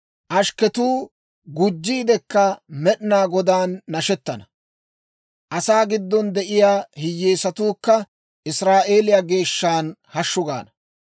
Ashkketuu gujjiidikka Med'inaa Godaan nashettana; asaa giddon de'iyaa hiyyeesatuukka Israa'eeliyaa Geeshshan hashshu gaana.